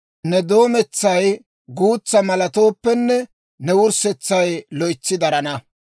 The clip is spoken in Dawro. Ne doometsay guutsa malattooppenne, ne wurssetsay loytsi darana.